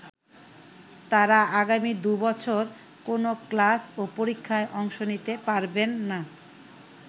তারা আগামী দুই বছর কোনো ক্লাস ও পরীক্ষায় অংশ নিতে পারবেন না।